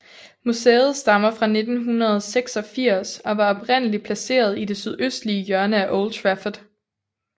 Museet stammer fra 1986 og var oprindeligt placeret i det sydøstlige hjørne af Old Trafford